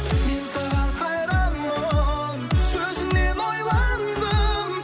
мен саған қайранмын сөзіңнен ойландым